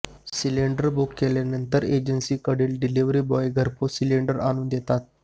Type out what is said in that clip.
cylinder book केल्यानंतर एजन्सीकडील delivery boy घरपोच सिलिंडर आणून देतात